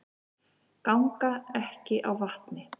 Ganga ekki á vatni